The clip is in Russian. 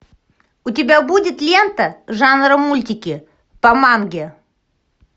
у тебя будет лента жанра мультики по манге